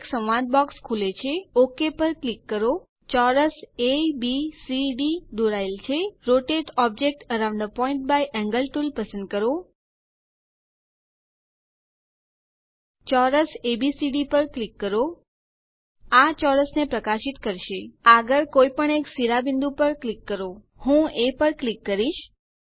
એક સંવાદ બોક્સ ખુલે છે ઓક પર ક્લિક કરો ચોરસ એબીસીડી દોરાયેલ છે rotate object around a point by angle tool પર ક્લિક કરો ચોરસ એબીસીડી પર ક્લિક કરો આ ચોરસ ને પ્રકાશિત કરશે આગળ કોઇપણ એક શિરોબિંદુ પર ક્લિક કરો હું એ પર ક્લિક કરીશ